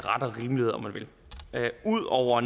rimelighed om man vil ud over